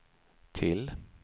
till